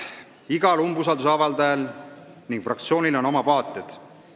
Igal umbusalduse avaldajal ja fraktsioonil on oma vaated.